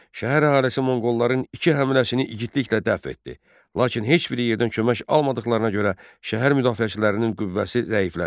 Şəhər əhalisi Monqolların iki həmləsini igidliklə dəf etdi, lakin heç bir yerdən kömək almadıqlarına görə şəhər müdafiəçilərinin qüvvəsi zəiflədi.